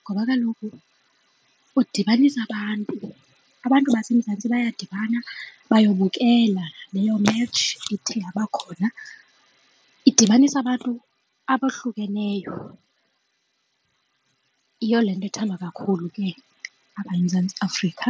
ngoba kaloku udibanisa abantu abantu baseMzantsi bayadibana bayobukela leyo match ithe yabakhona idibanisa abantu abohlukeneyo. Yiyo le nto ithandwa kakhulu ke apha eMzantsi Afrika.